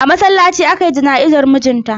A masallaci aka yi jana'izar mijin ta.